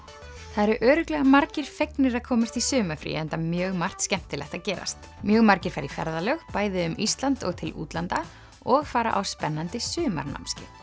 það eru örugglega margir fegnir að komast í sumarfrí enda mjög margt skemmtilegt að gerast mjög margir fara í ferðalög bæði um Ísland og til útlanda og fara á spennandi sumarnámskeið